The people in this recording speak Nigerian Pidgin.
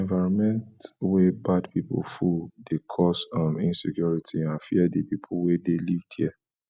environment wey bad pipo full de cause um insecurity and fear di pipo wey de live there